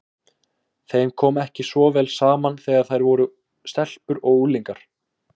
Þeim kom ekki svo vel saman þegar þær voru stelpur og unglingar.